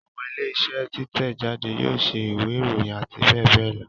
Àwọn ilé iṣẹ́ títẹ̀ jáde yóò ṣe ìwé ìròyìn àti bẹ́ẹ̀ bẹ́ẹ̀ lọ